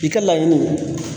I ka laɲiniw